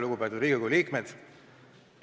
Lugupeetud Riigikogu liikmed!